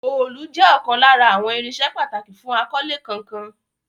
Òòlù jẹ́ ọ̀kan lára àwọn irinṣẹ́ pàtàkì fún akọ́lé kankan.